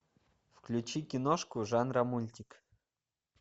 включи киношку жанра мультик